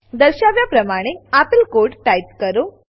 દર્શાવ્યા પ્રમાણે આપેલ કોડ ટાઈપ કરો